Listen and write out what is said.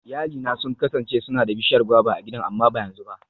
Iyalina sun kasance suna da bishiyar guava a gidan amma ba yanzu ba.